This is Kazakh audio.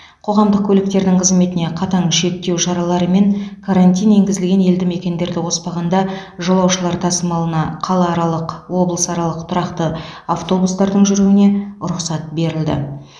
қоғамдық көліктің қызметіне қатаң шектеу шаралары мен карантин енгізілген елді мекендерді қоспағанда жолаушылар тасымалына қалааралық облысаралық тұрақты автобустардың жүруіне рұқсат берілді